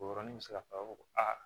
O yɔrɔnin bɛ se ka fɔ a b'a fɔ ko aa